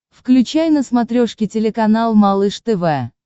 включай на смотрешке телеканал малыш тв